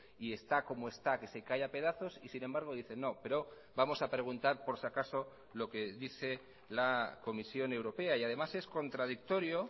y está como está que se cae a pedazos y sin embargo dicen no pero vamos a preguntar por si acaso lo que dice la comisión europea y además es contradictorio